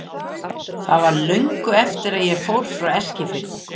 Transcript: Það var löngu eftir að ég fór frá Eskifirði.